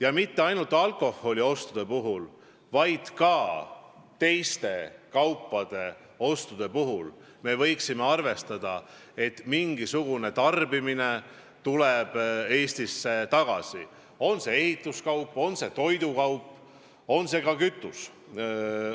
Ja see ei puuduta ainult alkoholiostusid, vaid ka teiste kaupade ostude puhul me võiksime arvestada, et mingisugune tarbimine tuleb Eestisse tagasi – on see ehituskaup, on see toidukaup, on see kütus.